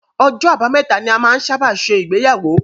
Ọjọ àbámẹ́ta ni a máa n sábà ṣe ìgbéyàwó.